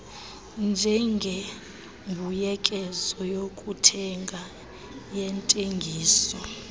njengembuyekezo yokuthenga yentengiso